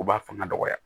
U b'a fanga dɔgɔya